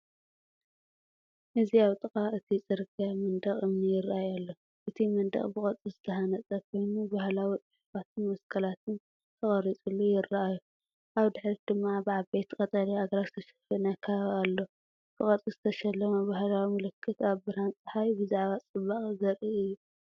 እዚ ኣብ ጥቓ እቲ ጽርግያ መንደቕ እምኒ ይራኣይ ኣሎ። እቲ መንደቕ ብቅርፂ ዝተሃንጸ ኮይኑ፡ባህላዊ ጽሑፋትን መስቀላትን ተቐሪጹሉ ይራኣዩ። ኣብ ድሕሪት ድማ ብዓበይቲ ቀጠልያ ኣግራብ ዝተሸፈነ ከባቢ ኣሎ። ብቅርጺ ዝተሸለመ ባህላዊ ምልክት ኣብ ብርሃን ጸሓይ ብዛዕባ ጽባቐ ዘርኢ እዩ።